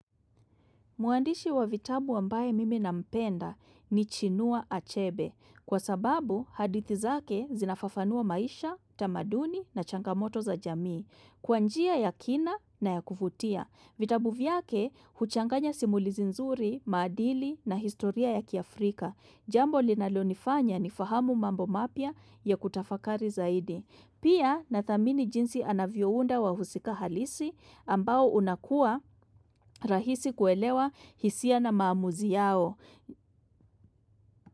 Mwandishi wa vitabu ambaye mimi na mpenda ni chinua achebe. Kwa sababu, hadithi zake zinafafanua maisha, tamaduni na changamoto za jamii. Kwa njia ya kina na ya kuvutia. Vitabu vyake, huchanganya simulizi nzuri, maadili na historia ya kiafrika. Jambo linalonifanya ni fahamu mambo mapya ya kutafakari zaidi. Pia nathamini jinsi anavyounda wa husika halisi ambao unakuwa rahisi kuelewa hisia na maamuzi yao.